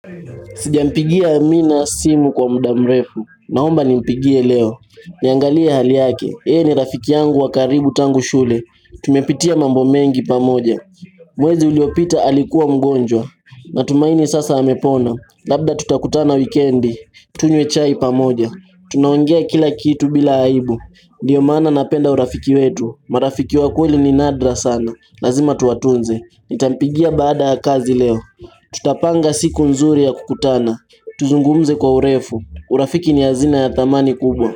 Sijampigia amina simu kwa muda mrefu naomba nimpigie leo Niangalie hali yake, ni rafiki yangu wakaribu tangu shule Tumepitia mambo mengi pamoja Mwezi uliopita alikuwa mgonjwa Natumaini sasa amepona Labda tutakutana wikendi Tunywe chai pamoja Tunaongea kila kitu bila aibu Ndiyo maana napenda urafiki wetu marafiki wa kweli ni nadra sana Lazima tuwatunze Nitampigia baada ya kazi leo Tutapanga siku nzuri ya kukutana, tuzungumze kwa urefu, urafiki ni hazina ya thamani kubwa.